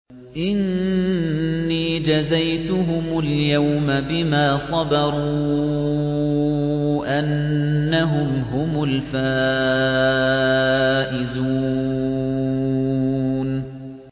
إِنِّي جَزَيْتُهُمُ الْيَوْمَ بِمَا صَبَرُوا أَنَّهُمْ هُمُ الْفَائِزُونَ